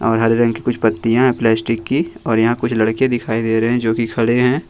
हरे रंग की कुछ पत्तियां हैं प्लास्टिक की और यहां कुछ लड़के दिखाई दे रहे हैं जो की खड़े हैं।